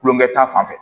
Kulonkɛ ta fan fɛ